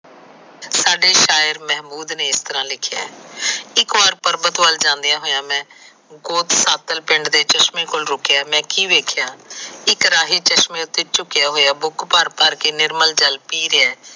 ਸਾਡੇ ਸ਼ਾਇਰ ਮਹਮੂਦ ਨੇ ਇਸ ਤਰਾ ਲਿਖਿਆ ਇੱਕ ਵਾਰ ਪਰਵਤ ਵੱਲ ਜਾਂਦਿਆ ਹੋਇਆ ਮੈ ਉਸ ਪਿੰਡ ਦੇ ਚਸ਼ਮੇ ਕੋਲ ਰੁਕਿਆ ਮੈ ਕੀ ਵੇਖਿਆ ਇੱਕ ਰਾਹੀ ਚਸ਼ਮੇ ਉਤੇ ਝੁਕਿਆ ਹੋਇਆ ਬੂਕ ਭਰ ਭਰ ਕੇ ਨਿਰਮਾਲ ਜਲ ਪੀ ਰਿਹਾ ਹੈ।